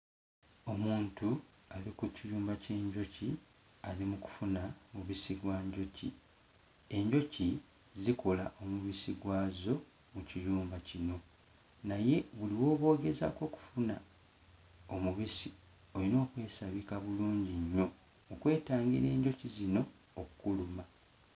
Omuntu ali ku kiyumba ky'enjoki ali mu kufuna mubisi gwa njoki. Enjoki zikola omubisi gwazo mu kiyumba kino naye buli w'oba ogezaako okufuna omubisi olina okwesabika bulungi nnyo okwetangira enjoki zino okkuluma.